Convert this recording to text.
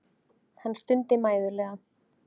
Hann stundi mæðulega.